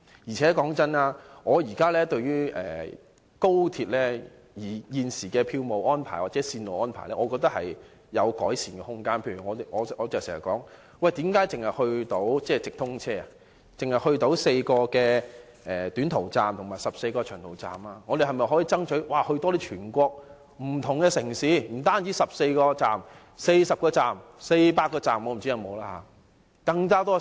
老實說，我認為高鐵現時的票務安排或線路安排仍有改善空間，我經常詢問為何直通車只可到達4個短途站和14個長途站，而我們可否爭取直達全國不同的城市，不僅是14個站，而是40個站、400個站——我不知道有沒有這麼多。